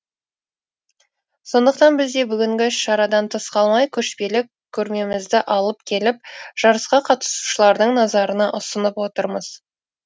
сондықтан біз де бүгінгі іс шарадан тыс қалмай көшпелі көрмемізді алып келіп жарысқа қатысушылардың назарына ұсынып отырмыз